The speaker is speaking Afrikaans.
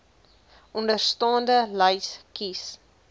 onderstaande lys kies